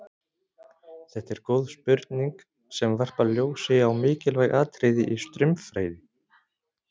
Þetta er góð spurning sem varpar ljósi á mikilvæg atriði í straumfræði.